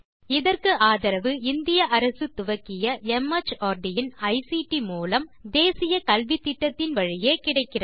இதற்கு ஆதரவு இந்திய அரசு துவக்கிய மார்ட் இன் ஐசிடி மூலம் தேசிய கல்வித்திட்டத்தின் வழியே கிடைக்கிறது